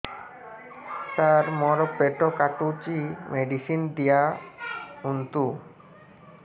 ସାର ମୋର ପେଟ କାଟୁଚି ମେଡିସିନ ଦିଆଉନ୍ତୁ